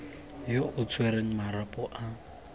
yo o tshwereng marapo a